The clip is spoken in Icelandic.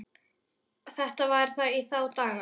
Þetta var í þá daga.